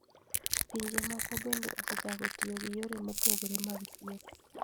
Pinje moko bende osechako tiyo gi yore mopogore mag thieth.